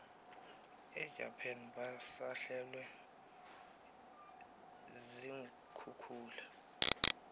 ejapan basahlelwe ziinkhukhula